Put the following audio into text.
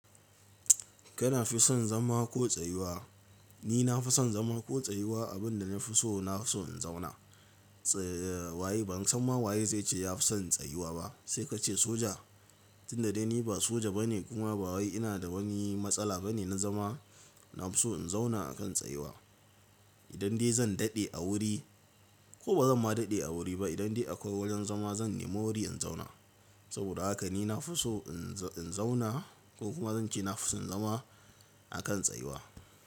Kana fi son zama ko tsayuwa? Ni na fi son zama ko tsayuwa abin da na fi so, na fi so in zauna. Tsayayye ban san ma waye zai ce ya fi son tsayuwa ba. Sai ka ce soja tunda dai ni ba soja bane kuma ba waye ina da wani matsala bane na zama, na fi so in zauna a kan tsayuwa. Idan dai zan daɗe a wuri ko bazan ma daɗe a wuri ba, idan dai akwai wurin zama zan nemo wuri in zauna. Saboda haka ni na fi so in zauna ko kuma zan ce na fi son zama a kan tsayuwa.